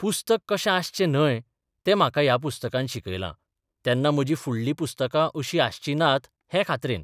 पुस्तक कशें आसचें न्हय तें म्हाका ह्या पुस्तकान शिकयलां तेन्ना म्हजी फुडलीं पुस्तकां अशीं आसचीं नात हें खात्रेन.